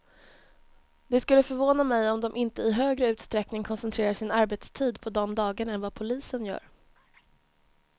Det skulle förvåna mig om de inte i högre utsträckning koncentrerar sin arbetstid på de dagarna än vad polisen gör.